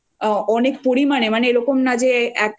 সেই সময়ে এসে দিয়ে যাচ্ছে খুবই ভালো খাবার অনেক